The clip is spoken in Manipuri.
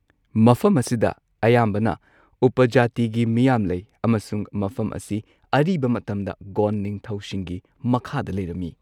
ꯃꯐꯝ ꯑꯁꯤꯗ ꯑꯌꯥꯝꯕꯅ ꯎꯞꯄꯖꯥꯇꯤꯒꯤ ꯃꯤꯌꯥꯝ ꯂꯩ ꯑꯃꯁꯨꯡ ꯃꯐꯝ ꯑꯁꯤ ꯑꯔꯤꯕ ꯃꯇꯝꯗ ꯒꯣꯟꯗ ꯅꯤꯡꯊꯧꯁꯤꯡꯒꯤ ꯃꯈꯥꯗ ꯂꯩꯔꯝꯃꯤ꯫